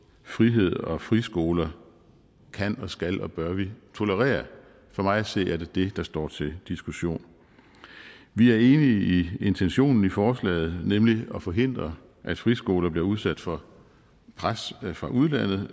frihed og friskoler kan og skal og bør vi tolerere for mig at se er det det der står til diskussion vi er enige i intentionen i forslaget nemlig at forhindre at friskoler bliver udsat for pres fra udlandet